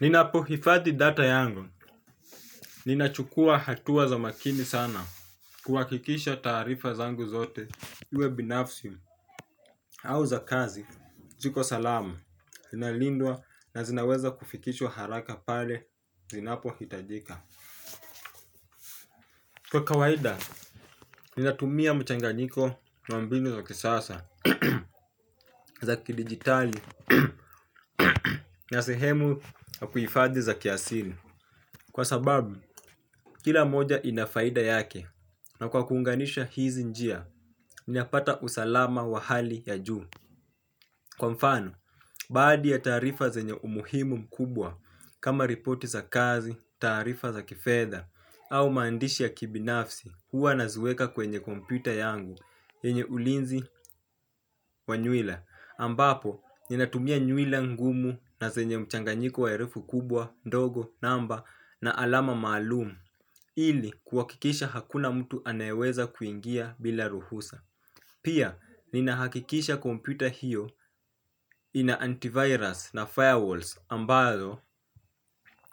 Ninapo hifadhi data yangu, ninachukua hatua za makini sana, kuwakikisha taarifa zangu zote, uwe binafsi, au za kazi, ziko salama, inalindwa na zinaweza kufikishwa haraka pale, inapo hitajika. Kwa kawaida, ninatumia mchanganyiko wa mbinu za kisasa, za kidigitali, na sehemu ya kuifadhi za kiasili. Kwa sababu, kila moja inafaida yake na kwa kuunganisha hizi njia, ninapata usalama wa hali ya juu. Kwa mfano, baadhi ya taarifa zenye umuhimu mkubwa kama ripoti za kazi, taarifa za kifedha, au maandishi ya kibinafsi huwa naziweka kwenye kompyuta yangu yenye ulinzi wa nywila ambapo inatumia nywila ngumu na zenye mchanganyiko wa herufi kubwa ndogo namba na alama maalumu ili kuwakikisha hakuna mtu anayeweza kuingia bila ruhusa pia ninahakikisha kompyuta hiyo ina antivirus na firewalls ambazo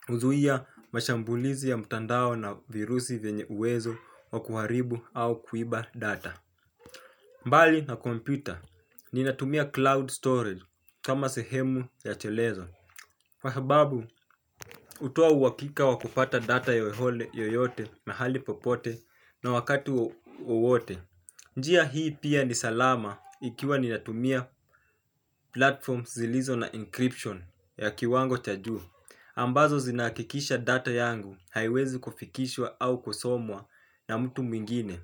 uzuia mashambulizi ya mutandao na virusi venye uwezo wa kuharibu au kuiba data. Mbali na kompyuta ninatumia cloud storage kama sehemu ya chelezo Wahababu hutoa uwakika wa kupata data yoyote mahali popote na wakati wowote. Njia hii pia ni salama. Ikiwa ninatumia platform zilizo na encryption ya kiwango cha juu ambazo zinaakikisha data yangu haiwezi kufikishwa au kusomwa na mtu mwingine.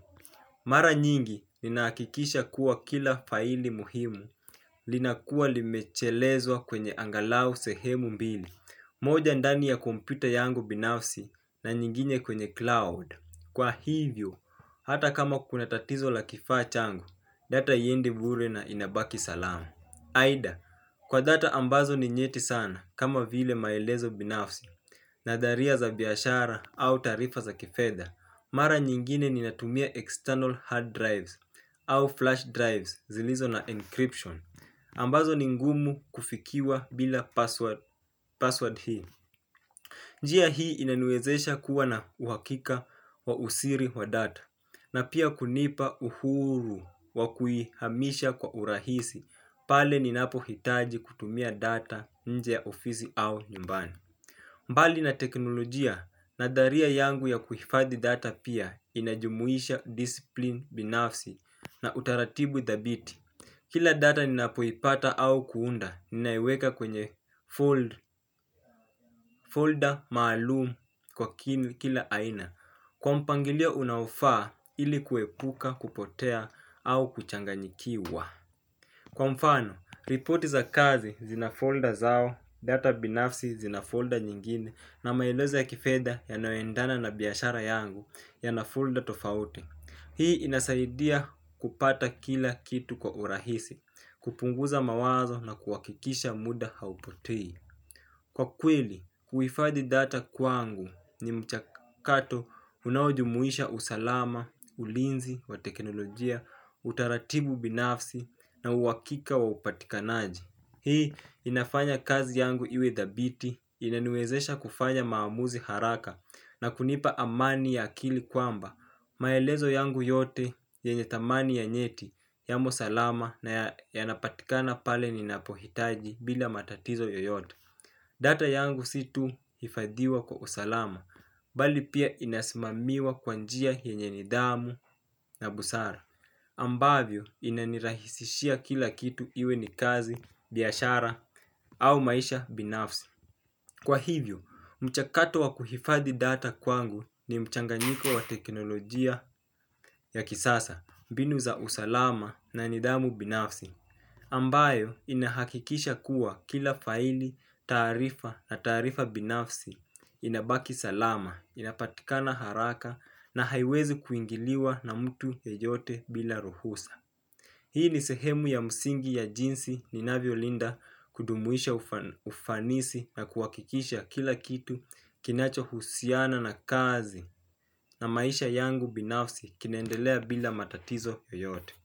Mara nyingi ninaakikisha kuwa kila faili muhimu linakuwa limechelezwa kwenye angalau sehemu mbili, moja ndani ya kompyuta yangu binafsi na nyingine kwenye cloud. Kwa hivyo, hata kama kuna tatizo la kifaa changu, data hiendi bure na inabaki salamu. Aidha, kwa data ambazo ni nyeti sana kama vile maelezo binafsi na dharia za biashara au taarifa za kifedha. Mara nyingine ninatumia external hard drives au flash drives zilizo na encryption. Ambazo ni ngumu kufikiwa bila password hii. Njia hii inaniwezesha kuwa na uhakika wa usiri wa data. Na pia kunipa uhuru wakuihamisha kwa urahisi pale ninapo hitaji kutumia data nje ya ofisi au nyumbani. Mbali na teknolojia nadharia yangu ya kuhifadhi data pia inajumuisha discipline binafsi na utaratibu thabiti. Kila data ninapoipata au kuunda, ninaiweka kwenye folder maalumu kwa kila aina. Kwa mpangilio unaufaa ili kuepuka, kupotea au kuchanganyikiwa. Kwa mfano, ripoti za kazi zina folder zao, data binafsi zina folder nyingine na maelezo ya kifedha yanayoendana na biyashara yangu yana folder tofauti. Hii inasaidia kupata kila kitu kwa urahisi, kupunguza mawazo na kuwakikisha muda haupotei. Kwa kweli, kuifadhi data kwangu ni mchakato unaojumuisha usalama, ulinzi, wa teknolojia, utaratibu binafsi, na uwakika wa upatikanaji. Hii inafanya kazi yangu iwe dhabiti, inaniwezesha kufanya maamuzi haraka, na kunipa amani ya akili kwamba, maelezo yangu yote, yenye thamani ya nyeti, yamosalama, na yanapatikana pale ninapohitaji bila matatizo yoyoto. Data yangu si tu hifadiwa kwa usalama, bali pia inasmamiwa kwa njia yenye nidhamu na busara. Ambavyo inanirahisishia kila kitu iwe ni kazi, biashara au maisha binafsi. Kwa hivyo, mchakato wa kuhifadhi data kwangu ni mchanganyiko wa teknolojia ya kisasa, mbinu za usalama na nidhamu binafsi. Ambayo inahakikisha kuwa kila faili, taarifa na taarifa binafsi inabaki salama, inapatikana haraka na haiwezi kuingiliwa na mtu yeyote bila ruhusa. Hii ni sehemu ya msingi ya jinsi ninavyo linda kudumuisha ufanisi na kuwakikisha kila kitu kinacho husiana na kazi na maisha yangu binafsi kinaendelea bila matatizo yoyote.